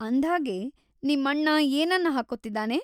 ಅಂದ್ಹಾಗೆ, ನಿಮ್ಮಣ್ಣ ಏನನ್ನ ಹಾಕ್ಕೋತಿದಾನೆ?